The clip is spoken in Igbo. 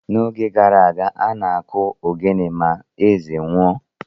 N’oge gara aga, a na-akụ ogene ma eze nwụọ.